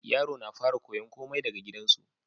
Yaro na fara koyan komai daka gidan su